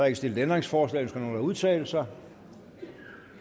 ikke stillet ændringsforslag ønsker nogen at udtale sig